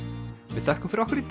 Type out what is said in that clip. við þökkum fyrir okkur í